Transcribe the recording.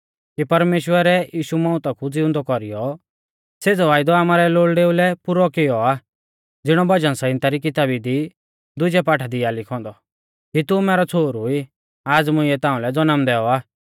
कि परमेश्‍वरै यीशु मौउता कु ज़िउंदौ कौरीयौ सेज़ौ वायदौ आमारै लोल़डेऊ लै पुरौ कियौ आ ज़िणौ भजन संहिता री किताबी दी दुजै पाठा दी आ लिखौ औन्दौ कि तू मैरौ छ़ोहरु ई आज़ मुंइऐ ताऊं लै जनम दैऔ आ